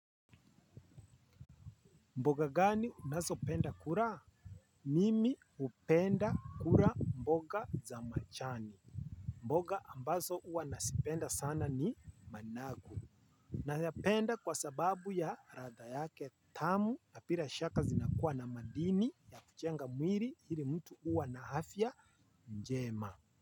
Mboga gani unazo penda kula? Mimi hupenda kula mboga za majani. Mboga ambazo huwa nazipenda sana ni managu. Nayapenda kwa sababu ya ladha yake tamu na bila shaka zinakuwa na madini ya kujenga mwili ili mtu kuwa na afya njema.